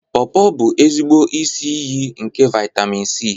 Pawpaw bụ ezigbo isi iyi nke vitamin C.